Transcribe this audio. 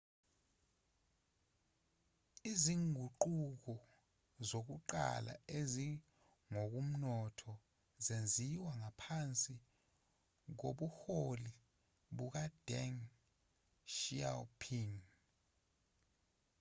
izinguquko zokuqala ezingokomnotho zenziwa ngaphansi kobuholi bukadeng xiaoping